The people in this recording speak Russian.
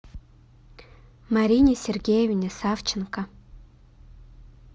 марине сергеевне савченко